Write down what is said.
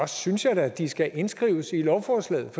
synes jeg da at de skal indskrives i lovforslaget